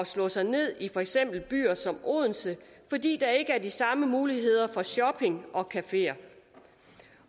slå sig ned i for eksempel byer som odense fordi der ikke er de samme muligheder for shopping og cafeer